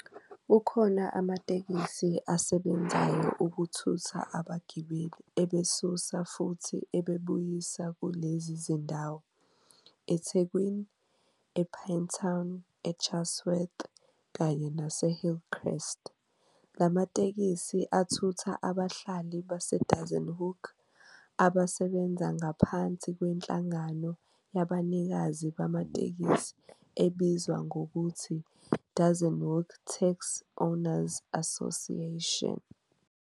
Kukhona amateksi asebenzayo ukuthutha abagibeli ebasusa futhi ebabuyisa kulezi zindawo, eThekwini, ePinetown, eChartworth kanye naseHillcrest. Lamatekisei athutha abahlali baseDassenhoek asebenza ngaphansi kwenhlangano yabanikazi bamatekisi ebizwa ngokuthi "Dassenhoek Taxi Owners Association".